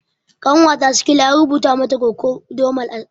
Ƙanwata sikila an rubuta mata kokodamol a asibiti